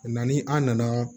Na ni an nana